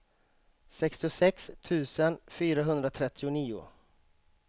sextiosex tusen fyrahundratrettionio